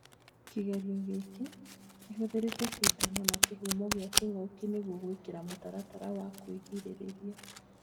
Kĩgerio gĩkĩ rĩhũthĩrĩte cindano na kĩhumo gĩa kĩng'uki nĩguo gwĩkĩra mũtaratara wa kũgirĩria